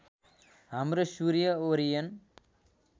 हाम्रो सूर्य ओरियन